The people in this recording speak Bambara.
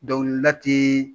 Dɔnkilida ti